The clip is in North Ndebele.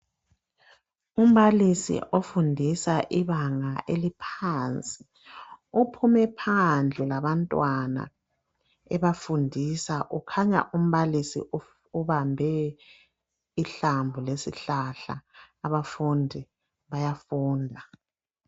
Umbalisi ofundisa ibanga eliphansi phume phandle labantwana ebafundisa ukhanya umbalisi ubambe ihlamvu lesihlahla abafundi bayafunda.